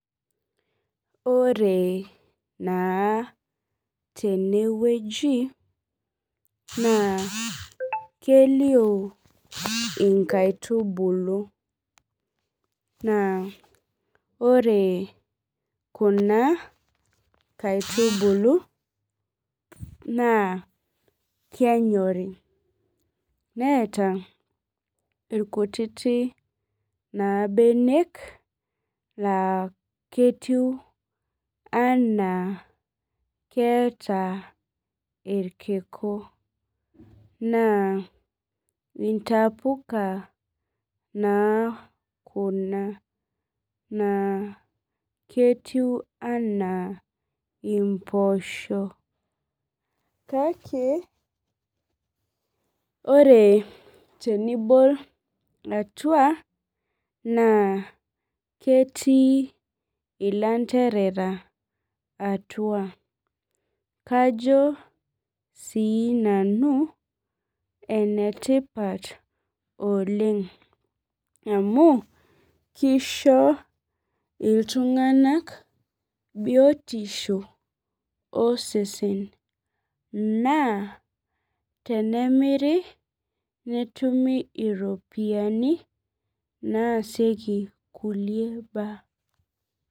Ore naa tenewueji naa kelio enkaitubulu naa ore Kuna kaitubulu naa kenyori netaa irkuti mbenek laa ketiu ena ketaa irkiku naa entapuka naa Kuna naa ketieu ena mboshok kake tenibol atua naa ketii elanterera atua kajo sinanu enetipat oleng amu kisho iltung'ana biotisho osesen naa tenemiri netumie eropiani naasiekie kulie mbaa